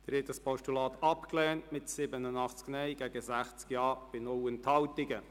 Sie haben das Postulat abgelehnt mit 87 Nein- zu 60 Ja-Stimmen bei 0 Enthaltungen.